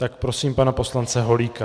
Tak prosím pana poslance Holíka.